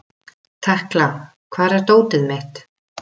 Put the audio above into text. Tekla, hvar er dótið mitt?